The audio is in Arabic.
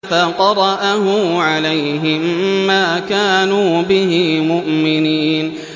فَقَرَأَهُ عَلَيْهِم مَّا كَانُوا بِهِ مُؤْمِنِينَ